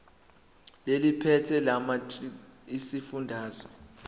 eliphethe lamarcl esifundazwe